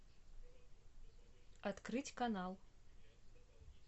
открыть канал